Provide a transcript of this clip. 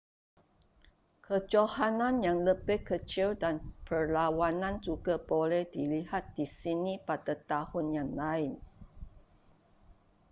kejohanan yang lebih kecil dan perlawanan juga boleh dilihat di sini pada tahun yang lain